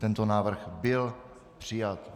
Tento návrh byl přijat.